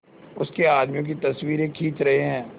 उसके आदमियों की तस्वीरें खींच रहे हैं